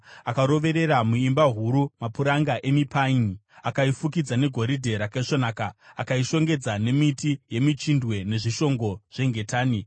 Akaroverera muimba huru mapuranga emipaini akaifukidza negoridhe rakaisvonaka akaishongedza nemiti yemichindwe nezvishongo zvengetani.